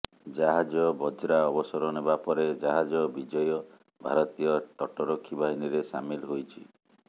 ଜାହାଜ ବଜ୍ରା ଅବସର ନେବାପରେ ଜାହାଜ ବିଜୟ ଭାରତୀୟ ତଟରକ୍ଷୀ ବାହିନୀରେ ସାମିଲ୍ ହୋଇଛି